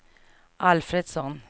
Alfredsson